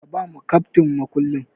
Ka bawa keftin mukullin.